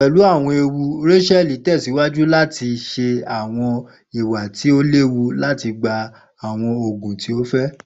Pelu awọn ewu, Rakeli tẹsiwaju lati ṣe awọn iwa ti o lewu lati gba awọn oogun ti o fẹ.